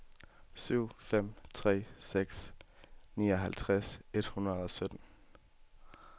syv fem tre seks nioghalvtreds et hundrede og sytten